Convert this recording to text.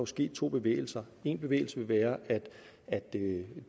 ske to bevægelser en bevægelse vil være at